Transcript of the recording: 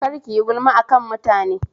Kar kiyi gulma akan mutane